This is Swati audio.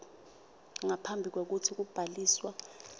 ngaphambi kwekutsi kubhaliswa